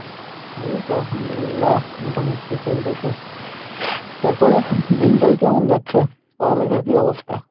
এইতো আল্লাহম দুল্লিয়াহ, মোটামোটি চলতেছে তারপরে দিনকাল কেমন যাচ্ছে? পড়ালেখার কী অবস্থা?